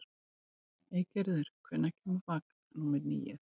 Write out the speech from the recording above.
Eygerður, hvenær kemur vagn númer níu?